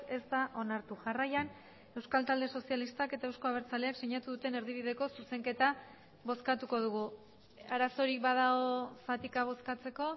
ez da onartu jarraian euskal talde sozialistak eta euzko abertzaleak sinatu duten erdibideko zuzenketa bozkatuko dugu arazorik badago zatika bozkatzeko